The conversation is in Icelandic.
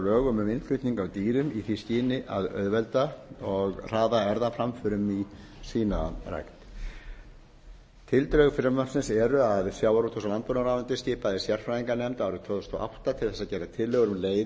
lögum um innflutning á dýrum í því skyni að auðvelda og hraða erfðaframförum í svínarækt tildrög frumvarpsins eru að sjávarútvegs og landbúnaðarráðuneytið skipaði sérfræðinganefnd árið tvö þúsund og átta til þess að gera tillögur um leiðir til að